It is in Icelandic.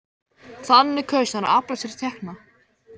Þannig kaus hann að afla sér tekna.